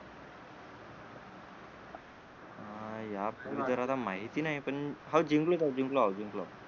अं यापूर्वी तर मला माहिती नाही पण हो जिंकलो ना जिंकलो जिंकलो